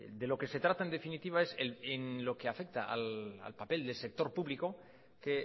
de lo que se trata en definitiva es en lo que afecta al papel del sector público que